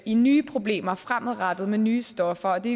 i nye problemer fremadrettet med nye stoffer og det